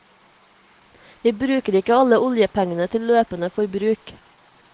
Vi bruker ikke alle oljepengene til løpende forbruk.